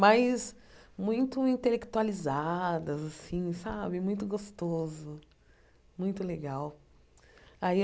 mas muito intelectualizadas assim sabe, muito gostoso, muito legal.